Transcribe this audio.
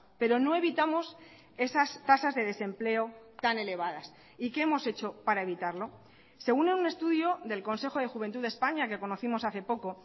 pero no evitamos esas tasas de desempleo tan elevadas y qué hemos hecho para evitarlo según un estudio del consejo de juventud de españa que conocimos hace poco